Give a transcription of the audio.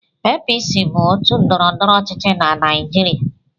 APC bụ òtù ndọrọndọrọ ọchịchị na Naịjirịa.